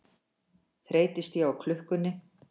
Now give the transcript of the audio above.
Þreytist ég á klukkunni.